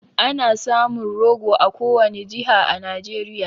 Ana samun rogo a kowani jiha a Nijeriya